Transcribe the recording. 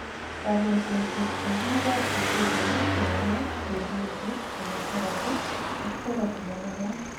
kanyaisosiek cheimugotin kocheu yenyet, radiation, chemotherapy ak therapy nemagat